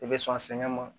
I bɛ sɔn sɛgɛn ma